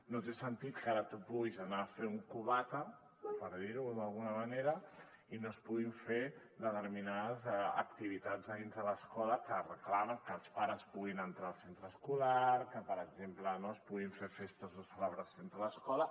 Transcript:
no té sentit que ara tu puguis anar a fer un cubata per dir ho d’alguna manera i no es puguin fer determinades activitats dins de l’escola que reclamen que els pares puguin entrar al centre escolar que per exemple no es puguin fer festes o celebracions a l’escola